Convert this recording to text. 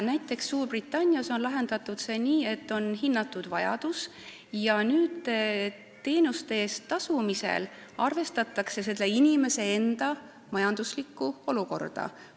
Näiteks on Suurbritannias see lahendatud nii, et vajadus on ära hinnatud ja teenuste eest tasumisel arvestatakse inimese enda majanduslikku olukorda.